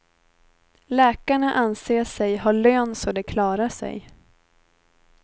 Läkarna anser sig ha lön så de klarar sig.